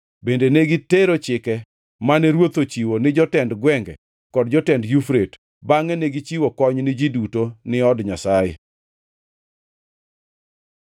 Bende ne gitero chike mane ruoth ochiwo ni jotend gwenge kod jotend Yufrate, bangʼe negichiwo kony ni ji kod ni od Nyasaye.